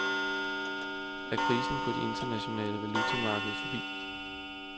Er krisen på de internationale valutamarkeder forbi?